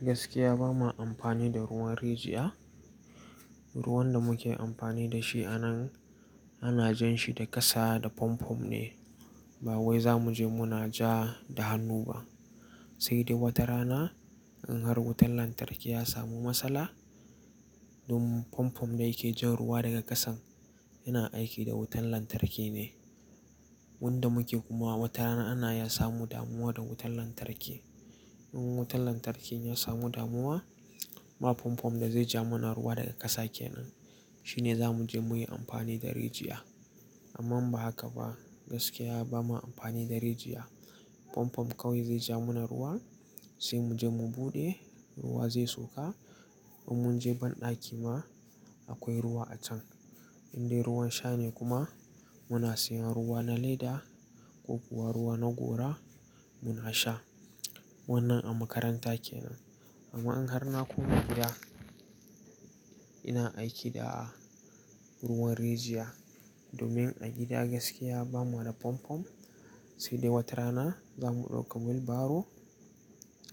Gaskiya bama amfani da ruwan rijiya. Ruwan da muke amfani da shi a nan ana jan shi daga ƙasa da fanfo ne. Ba wai za mu je muna ja da hannu ba. Sai dai wata rana in har wutan lantarki ya samu matsala, domin fanfon da yake jan ruwa daga ƙasan yana aiki da wutan lantarki ne. Wanda muke kuma wata rana ana iya samun damuwa da wutan lantarki. In wutan lantarki ya samu damuwa, ba fanfon da zai ja mana ruwa daga ƙasa kenan, shine za mu je mu yi amfani da rijiya. Amma ba haka ba, gaskiya bama amfani da rijiya. Fomfom kawai zai ja mana ruwa sai mu je mu buɗe ruwa zai sauka. In mun je banɗaki ma akwai ruwa a can. Indai ruwan sha ne kuma muna sayan ruwa na leda ko kuwa ruwa na gora muna sha. Wannan a makaranta kenan. Amma in har na koma gida, ina aiki da ruwan rijiya domin a gida gaskiya bamu da fanfo. Sai dai wata rana za mu ɗauka wheel barrow